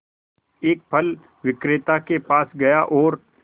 एक फल विक्रेता के पास गया और